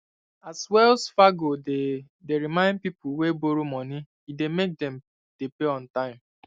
as wells fargo dey dey remind people wey borrow money e dey make them dey pay on time